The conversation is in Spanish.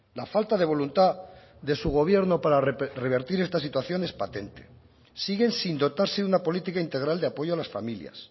la falta de voluntad de su gobierno para revertir esta situación es patente siguen sin dotarse una política integral de apoyo a las familias